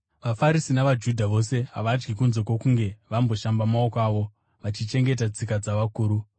VaFarisi navaJudha vose havadyi kunze kwokunge vamboshamba maoko avo, vachichengeta tsika dzavakuru.